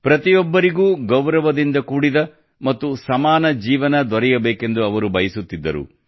ಪ್ರತಿಯೊಬ್ಬರಿಗೂ ಗೌರವದಿಂದ ಕೂಡಿದ ಮತ್ತು ಸಮಾನ ಜೀವನ ದೊರೆಯಬೇಕೆಂದು ಅವರು ಬಯಸುತ್ತಿದ್ದರು